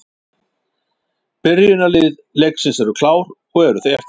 Byrjunarlið leiksins eru klár og eru þau eftirfarandi: